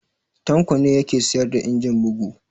Tanko ne ya ke sayar da injin bugu